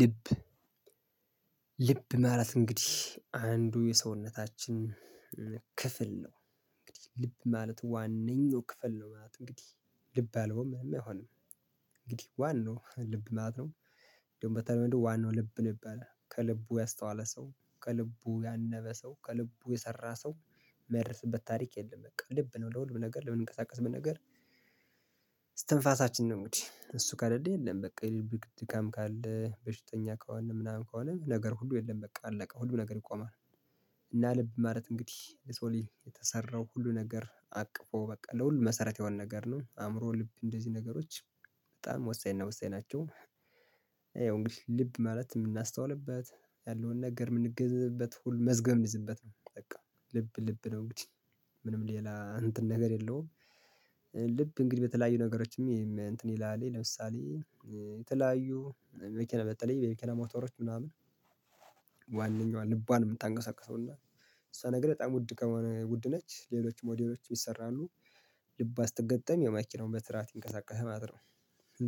ልብ ልብ ማለት እንግዲህ አንዱ የሰውነታችን ክፍል ነው እንግዲህ ልብ ማለት ዋናው ክፍል ነው ማለት እንግዲህ ልብ አለው ምንም አይሆንም እንግዲህ ዋናው ልብ ማለት ነው እንደውም በተለይ እንደው ዋናው ልብ ልብ ያለ ከልቡ ያስተዋለ ሰው ከልቡ ያነበ ሰው ከልቡ የሰራ ሰው መይደረስበት ታሪክ የለም። በቃ ልብ ነው ለምን ነገር ለምንቀሳቀስ ምን ነገር። እስትንፋሳችን ነው እንግዲህ እሱ ከለልኝ የለም በቃ የልብ ድካም ካለ በሽተኛ ከሆነ ምናምን ከሆነ ነገር ሁሉ የለም በቃ አለቀ ሁሉ ነገር ይቆማል። እና ልብ ማለት እንግዲህ ልሰው ልጅ የተሰራው ሁሉ ነገር አቅፎ በቃ ለሁሉ መሰረት የሆነ ነገር ነው አእምሮ ልብ እንደዚህ ነገሮች በጣም ወሳኝ እና ወሳኝ ናቸው። ይኸው እንግዲህ ልብ ማለት የምናስተውልበት ያለውን ነገር የምንገንዝበት መዝገብ ምዝበት በቃ ልብ ልብ ነው እንግዲህ ምንም ሌላ እንትን ነገር የለውም። ልብ እንግዲህ በተለያዩ ነገሮችም እንትን ይላል ለምሳሌ የተለያዩ መኪና በጠለይ የመክና ሞተሮች ምናምን። ዋነኛዋን ልቧን የምታንቀሳቅሰውና እሷ ነገር በጣም ውድ ከሆነ ውድ ነች ሌሎች ሞዴሎች ይሰራሉ ልቧ ስትገጠም ያው መኪናውም በስራዓት ይንቀሳቀሳል ማለት ነው።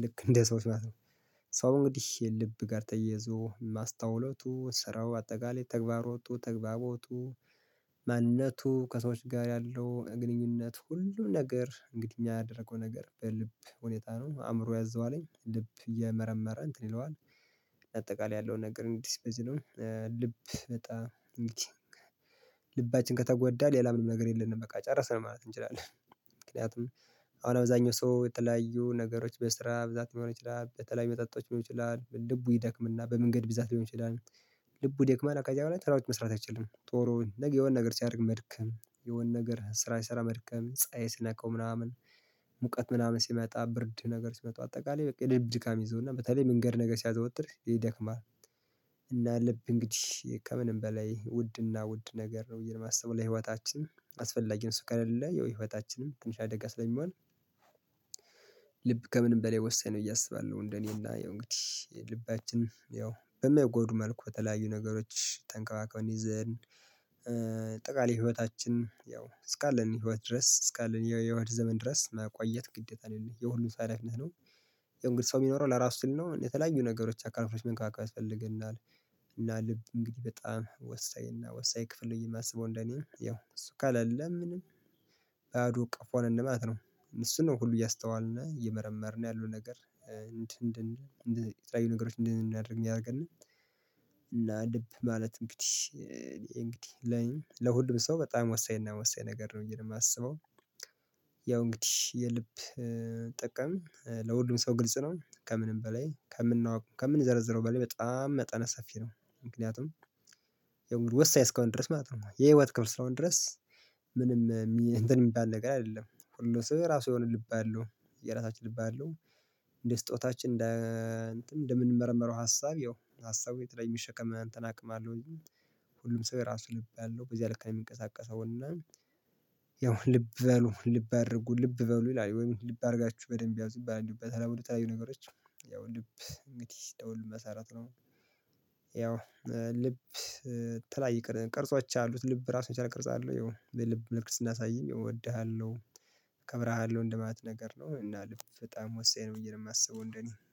ልክ እንደ ሰዎች ማለት ነው። ሰው እንግዲህ የልብ ጋር ተያይዞ ማስታውለቱ ስራው አጠቃላይ ተግባሮቱ ተግባቦቱ ማንነቱ ከሰዎች ጋር ያለው ግንኙነት ሁሉም ነገር እንግዲህ እኛ ያደረገው ነገር በልብ ሁኔታ ነው አእምሮ ያዘዋለኝ ልብ እየመረመረ እንትን ይለዋል። አጠቃላይ ያለው ነገር እንግዲህ እስከዚህ ነው። ልብ በጣም እንግዲህ ልባችን ከተጎዳ ሌላ ምንም ነገር የለንም በቃ ጨረስን ማለት እንችላለን። ምክንያቱም አሁን አብዛኛው ሰው የተለያዩ ነገሮች በስራ ብዛት ሊሆን ይችላል በተለያዩ መጠጦች ሊሆን ይችላል ልቡ ይደክምና በመንገድ ብዛት ሊሆን ይችላል። ልቡ ይደክማላ ከዚያ በኋላ ስራዎች መስራት አይችልም ጡሩውን የሆነ ነገር ሲያደርግ መድከም የሆነ ነገር ስራ ሲሰራ መድከም ፀሀይ ሲነካው ምናምን ሙቀት ምናምን ሲመጣ ብርድ ነገር ሲመጣ አጠቃላይ በቃ የልብ ድካም ይይዘውና በተለይ መንገድ ነገር ሲያዘወትር ይደክማል። እና ልብ እንግዲህ ከምንም በላይ ውድና ውድ ነገር ነው ብዬ ነው የማሰበው ለህይወታችን አስፈላጊ ነው እሱ ከሌለ ያው ህይወታችንም ትንሽ አደጋ ስለሚሆን። ልብ ከምንም በላይ ወሳኝ ነው ብየ አስባለሁ። እንደኔ እና ያው እንግዲህ ልባችን ያው በማይጎዱ መልኩ በተለያዩ ነገሮች ተንከባክበን ይዘን። አጠቃላይ ህይወታችን ያው እስካለን ህይወት ድረስ እስካለን የህይወት ዘመን ድረስ መቆየት ግዴታ ነው የሁሉም ፈረህ እምነት ነው። ያው እንግዲህ ሰው የሚኖረው ለራሱ ሲል ነው የተለያዩ ነገሮች አካል ክፍሎች መንከባከብ ያስፈልገናል። እና ልብ እንግዲህ በጣም ወሳኝ እና ወሳኝ ክፍል ነው ብየ የማስበው እንደኔ ያው እሱ ከሌለ ምንም ባዶ ቀፎ ነን ማለት ነው። እሱን ነው ሁሉ እያስተዋልን እየመረመርን ያለው ነገር እንድን እንድን የተለያዩ ነገሮች እንደምናደርግ የሚያደርገን። እና ልብ ማለት እንግዲህ እንግዲህ ለ ለሁሉም ሰው በጣም ወሳኝ እና ወሳኝ ነገር ነው ብየ ነው የማስበው። ያው እንግዲህ የልብ ጥቅም ለሁሉም ሰው ግልጽ ነው ከምንም በላይ ከምናውቅ ከምንዘረዝረው በላይ በጣም መጠነ ሰፊ ነው። ምክንያቱም ወሳኝ እስከሆነ ድረስ ማለት ነው የህይወት ክፍል እስከሆነ ድረስ። ምንም ሚ እንትን የሚባል ነገር አይደለም ሁሉ ሰው የራሱ የሆነ ልብ አለው። የራሳችን ልብ አለው። እንደ ስጦታችን እንደ እንደምንመረምረው ሀሳብ ያው ሀሳቡ የተለየ የሚሸከም እንትን አቅም አለው እንጅ። ሁሉም ሰው የራሱ ልብ አለው በዚያ ልክ ነው የሚንቀሳቀሰው እና። ያው ልብ በሉ ልብ አድርጉ ልብ በሉ ይላሉ ወይ ልብ አድርጋችሁ በደንብ ያዙ ይባላል። እንዲሁም በተለምዶ የተለያዩ ነገሮች ያው ልብ እንግዲህ ለሁሉም መሰረት ነው። ያው ልብ የተለያየ ቅር ቅርጾች አሉት ልብ ራሱን የቻለ ቅርጽ አለው ያው በልብ መልክ ስናሳይም ያው እወድሃለሁ። እከብርሃለሁ እንደማለት ነገር ነው እና ልብ በጣም ወሳኝ ነው ብየ ነው የማስበው እንደኔ